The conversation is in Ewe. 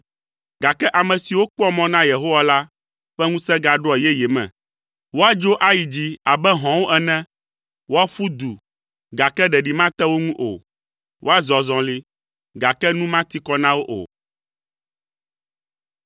gake ame siwo kpɔa mɔ na Yehowa la ƒe ŋusẽ gaɖoa yeye me. Woadzo ayi dzi abe hɔ̃wo ene. Woaƒu du, gake ɖeɖi mate wo ŋu o. Woazɔ azɔli, gake nu mati kɔ na wo o.